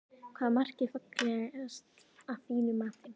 Hvaða mark er fallegast að þínu mati?